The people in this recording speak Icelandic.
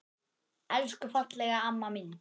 Elsku fallega amma mín.